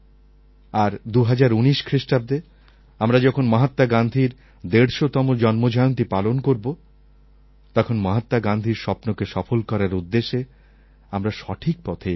আর ২০১৯ খ্রিস্টাব্দে আমরা যখন মহাত্মা গান্ধীর ১৫০তম জন্মজয়ন্তী পালন করবো তখন মহাত্মা গান্ধীর স্বপ্নকে সফল করার উদ্দেশ্যে আমরা সঠিক পথে এগোবো